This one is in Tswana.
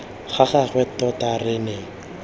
ga gagwe tota re ne